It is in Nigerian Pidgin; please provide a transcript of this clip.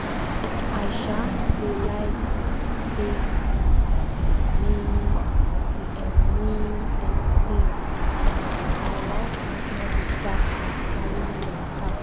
i um go like face dey um main dey um main um thing than to allow small small distraction carry me waka.